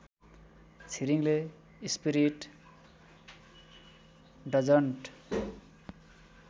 छिरिङले spirit doesn't